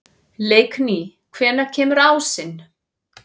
Leikný, hvenær kemur ásinn?